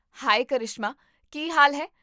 ਹਾਏ ਕਰਿਸ਼ਮਾ, ਕੀ ਹਾਲ ਹੈ?